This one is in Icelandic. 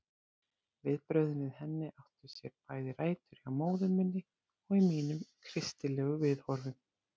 Viðbrögðin við henni áttu sér bæði rætur hjá móður minni og í mínum kristilegu viðhorfum.